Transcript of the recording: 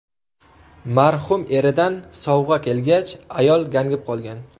Marhum eridan sovg‘a kelgach, ayol gangib qolgan.